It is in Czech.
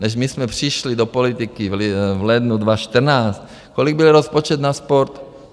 Než my jsme přišli do politiky v lednu 2014, kolik byl rozpočet na sport?